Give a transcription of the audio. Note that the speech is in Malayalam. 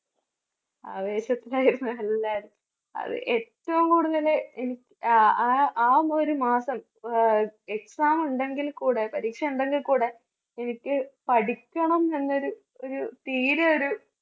ആവേശത്തിലായിരുന്നു എല്ലാവരും അത് ഏറ്റവും കൂടുതല് എനി ആ ആ ആ ഒരു മാസം അഹ് exam ഉണ്ടെങ്കിൽ കൂടെ പരീക്ഷ ഉണ്ടെങ്കിൽ കൂടെ എനിക്ക് പഠിക്കണംന്നുള്ള ഒരു ഒരു തീരെ ഒരു